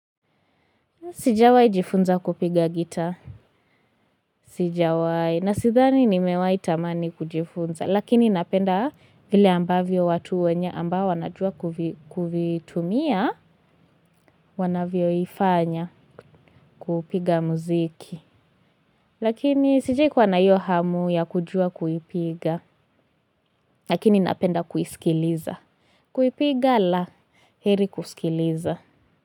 Sijawahi jifunza kupiga gitaa. Sijawahi. Na sidhani nimewahi tamani kujifunza. Lakini napenda vile ambavyo watu wenye ambao wanajua kuvitumia wanavyoifanya kupiga muziki. Lakini sijawahi kuwa na hiyo hamu ya kujua kuipiga. Lakini napenda kuisikiliza. Kuipiga la heri kusikiliza.